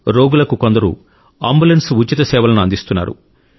రోగులకు కొందరు అంబులెన్స్ ఉచిత సేవలను అందిస్తున్నారు